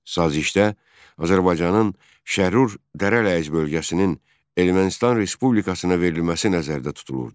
Sazişdə Azərbaycanın Şərrur Dərələyəz bölgəsinin Ermənistan Respublikasına verilməsi nəzərdə tutulurdu.